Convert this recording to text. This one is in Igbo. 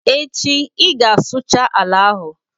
Echi ị ga-asụcha ala ahụ!